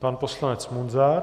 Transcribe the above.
Pan poslanec Munzar.